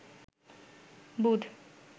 বুধ